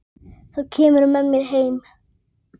Þá kemurðu með mér heim.